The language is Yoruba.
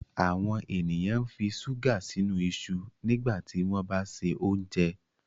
àwọn ènìyàn nfi ṣuga sínú iṣu nígbà tí wón bá ṣe oúnjẹ